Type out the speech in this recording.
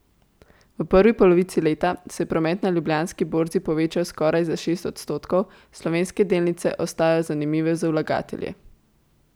V prvi polovici leta se je promet na Ljubljanski borzi povečal skoraj za šest odstotkov, slovenske delnice ostajajo zanimive za vlagatelje.